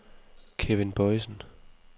Kevin Boisen